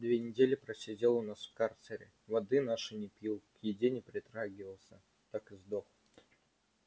две недели просидел у нас в карцере воды нашей не пил к еде не притрагивался так и сдох